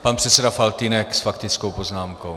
Pan předseda Faltýnek s faktickou poznámkou.